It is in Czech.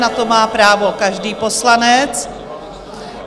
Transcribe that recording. Na to má právo každý poslanec.